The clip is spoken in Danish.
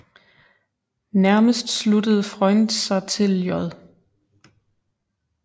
Nærmest sluttede Freund sig til J